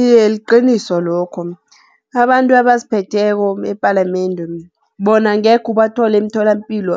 Iye, liqiniso lokho. Abantu abasiphetheko epalamende bona angekhe ubathole emtholampilo